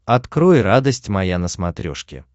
открой радость моя на смотрешке